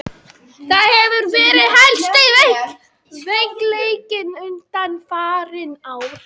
Það hefur verið helsti veikleikinn undanfarin ár.